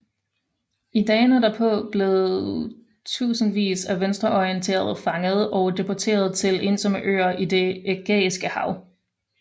I dagene derpå blev tusindvis af venstreorienterede fanget og deporteret til ensomme øer i Det ægæiske Hav